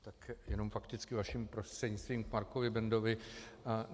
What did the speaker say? Tak jenom fakticky vaším prostřednictvím k Markovi Bendovi.